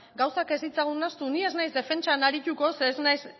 gauzak ez ditzagun nahastu ni ez naiz defentzan arituko ze ez naiz